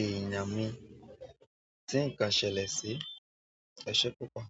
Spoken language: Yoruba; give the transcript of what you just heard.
èèyàn mi tí nǹkan ṣẹlẹ̀ sí. Ẹ̀ṣẹ́ púpọ̀.